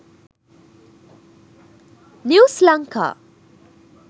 news lanka